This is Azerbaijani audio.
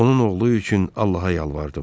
Onun oğlu üçün Allaha yalvardım.